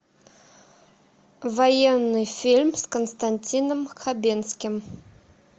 военный фильм с константином хабенским